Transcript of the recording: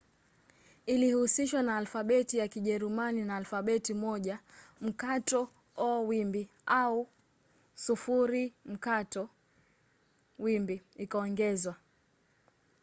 ilihusishwa na alfabeti ya kijerumani na alfabeti moja õ/õ ikaongezwa